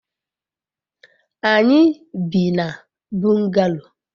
anyi bi na bungalow